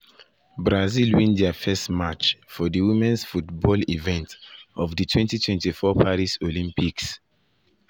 brazil win dia first match for di women’s football football event of di 2024 paris olympics.